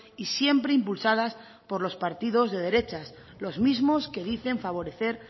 y siempre impulsadas por los partidos de derechas los mismos que dicen favorecer